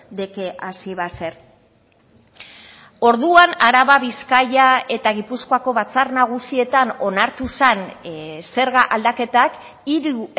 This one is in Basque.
de que así va a ser orduan araba bizkaia eta gipuzkoako batzar nagusietan onartu zen zerga aldaketak hiru